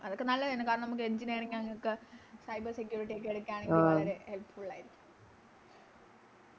അതൊക്കെ നല്ലതാണ് കാരണം നമുക്ക് Engineerng അങ്ങനൊക്കെ Cyber security ഒക്കെ എടുക്കാണെങ്കിൽ വളരെ Helpful ആരിക്കും